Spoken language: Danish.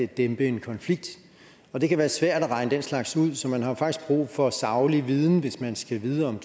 dæmpe en konflikt og det kan være svært at regne den slags ud så man har jo faktisk brug for saglig viden hvis man skal vide om